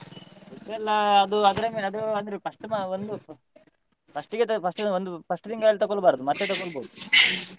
Food ಎಲ್ಲಾ ಅದು ಅದ್ರ ಮೇಲೆ ಅಂದ್ರೆ ಅದು ಅಂದ್ರೆ first ಗೆ ಅದ್ first ಗೆ ಅದು ಒಂದ್ first ತಿಂಗಳು ತೊಗೊಳ್ಬಾರ್ದು ಮತ್ತೆ ತೊಗೋಬೋದು .